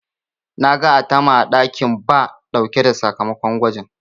Na ga Atama a ɗakin Ba ɗauke da sakamakon gwajin.